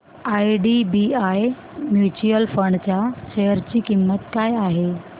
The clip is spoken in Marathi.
आयडीबीआय म्यूचुअल फंड च्या शेअर ची किंमत काय आहे